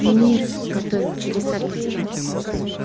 мир готовил чудеса для тебя